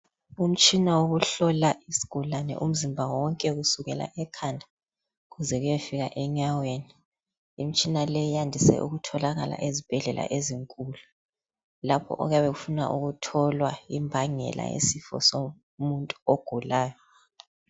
Umtshina wokuhlola isigulani umzimba wonke kusukela ekhanda kuze kuyefika enyaweni imitshina le yandise ukutholakala ezibhedlela ezinkulu lapho okuyabe kufunwa ukutholwa imbangela yesifo somuntu ogulayo